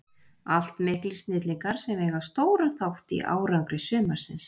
Allt miklir snillingar sem eiga stóran þátt í árangri sumarsins.